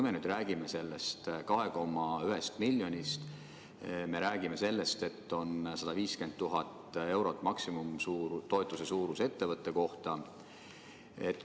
Me nüüd räägime sellest 2,1 miljonist ja räägime sellest, et on 150 000 eurot maksimaalne toetus ettevõtte kohta.